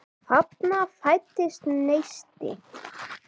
Þarna fæddist neisti.